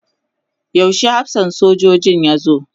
yaushe hafsan sojojin ya zo?